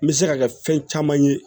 N bɛ se ka kɛ fɛn caman ye